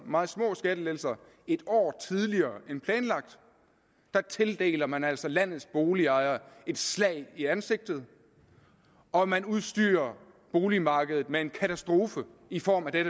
meget små skattelettelser et år tidligere end planlagt tildeler man altså landets boligejere et slag i ansigtet og man udstyrer boligmarkedet med en katastrofe i form af